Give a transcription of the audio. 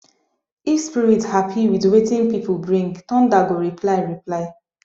if spirit happy with wetin people bring thunder go reply reply